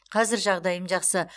қазір жағдайым жақсы